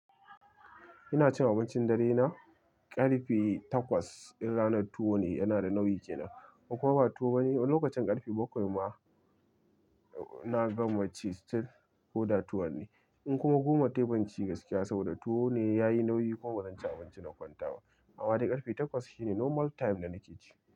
Ina cin abincin dare na ƙarfe takwas in ranar tuwo ne yana da nauyi kenan. Kuma ba tuwo bane lokacin ƙarfe bakwai ma na gama ci still koda tuwo ne. In kuma goma ta yi ban ci gaskiya saboda tuwo ne ya yi nauyi kuma zan ci abinci na kwanta ba. Amma dai ƙarfe takwas shine normal time da nake ci.